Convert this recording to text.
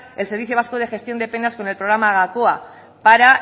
el servicio vasco de gestión de penas con el programa gakoa para